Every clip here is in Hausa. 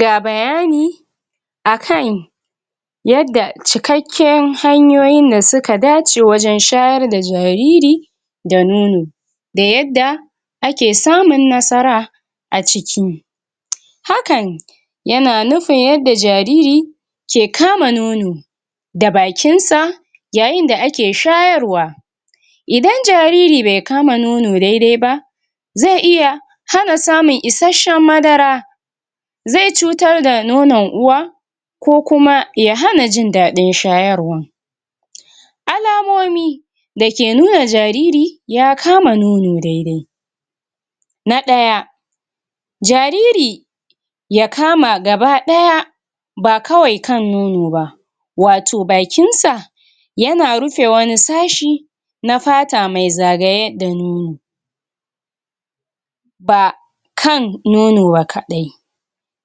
Ga bayani akan yanda cikakken hanyoyin da suka dace wajen shayar da jariri da nono da yadda ake samun nasara a ciki hakan yana nufin yanda jariri ke kama nono da bakin sa yayin da ake shayar wa idan jariri bai kama nono daidai ba zai iya hana samun isasshen madara zai cutar da nonon uwa ko kuma ya hana jin dadin shayarwan alamomi da ke nuna jariri ya kama nono daidai na daya jariri ya kama gabadaya ba kawai kan nono ba wato bakin sa yana rufe wani sashi na fata mai zagaye da nono ba kan nono ba kaɗai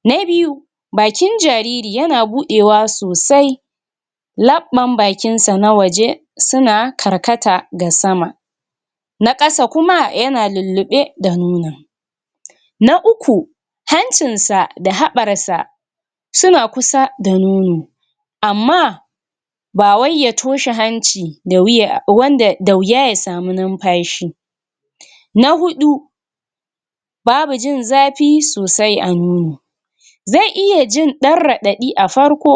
na biyu bakin jariri yana budewa sosai labban bakin sa na waje suna karkata ga sama na ƙasa kuma yana lullube da nonon na uku hancin sa da haɓar sa suna kusa da nono amma ba wai ya toshe hanci da wuya wanda da wuya ya samu numfashi na huɗu babu jin zafi sosai a nono zai iya jin dan raɗaɗi a farko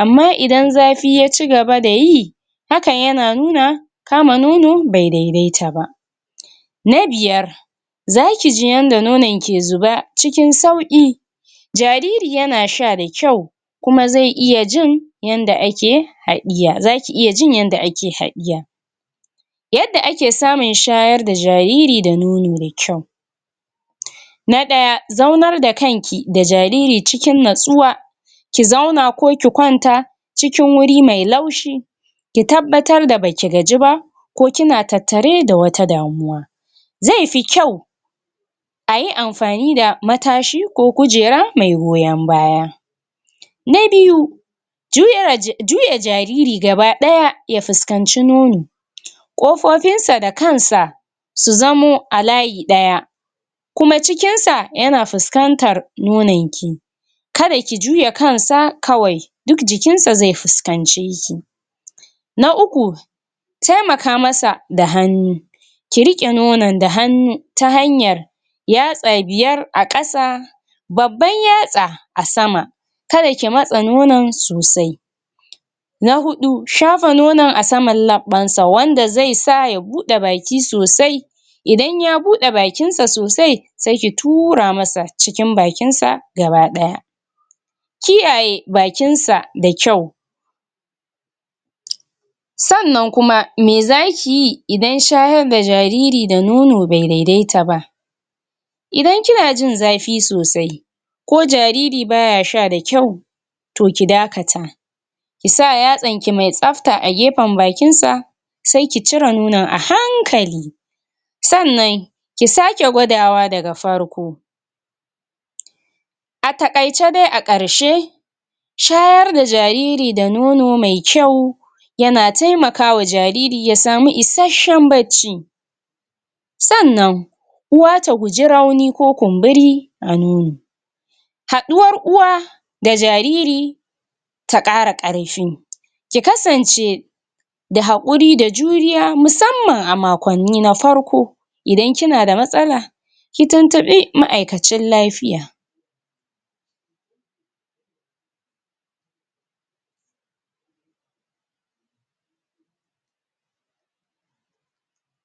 amma idan zafi ya cigaba da yi hakan yana nuna kama nono bai daidaita ba na biyar za kiji yanda nonon ke zuba cikin sauki jariri yana sha da kyau kuma zai iya jin yanda ake haɗiya za ki iya jin yanda ake haɗiya yadda ake samun shayar da jariri da nono da kyau na ɗaya zaunar da kanki da jariri cikin natsuwa ki zauna ko ki kwanta cikin wuri mai laushi ki tabbatar da baki gaji ba ko kina tattare da wata damuwa zai fi kyau ayi amfani da matashi ko kujera mai goyon baya na biyu juya jariri gabadaya ya fuskanci nono kofofin sa da kansa su zamo a layi ɗaya kuma cikin sa yana fusƙantar nonon ki kada ki juya kansa kawai duk jikinsa zai fuskance ki na uku taimaka masa da hannu ki riƙe nonon da hannu ta hanyar yatsa biyar a ƙasa babban yatsa a sama kada ki matsa nonon sosai na huɗu shafa nonon a saman labban sa wanda zai sa ya bude baki sosai idan ya bude bakin sa sosai sai ki tura masa cikin bakin sa gabaɗaya kiyaye bakin sa da kyau sannan kuma me za kiyi idan shayar da jariri da nono bai daidaita ba idan kina jin zafi sosai ko jariri baya sha da kyau to ki da kata ki sa yatsan ki mai tsafta a gefen bakin sa sai ki cire nonon a hankali sannan ki sake gwadawa daga farko a taƙaice dai a ƙarshe shayar da jariri da nono mai kyau yana taimaka wa jariri ya samu isasshen bacci sannan uwa ta guji rauni ko kumburi a nono haɗuwar uwa da jariri ta ƙara ƙarfi ki kasance da hakuri da juriya musamman a makonni na farko idan kina da matsala ki tuntubi ma'aikacin lafiya.